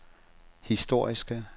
historiske